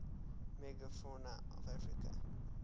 megafauna of africa